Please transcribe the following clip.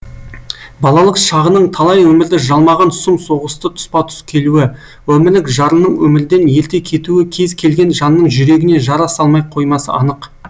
балалық шағының талай өмірді жалмаған сұм соғысты тұспа тұс келуі өмірлік жарының өмірден ерте кетуі кез келген жанның жүрегіне жара салмай қоймасы анық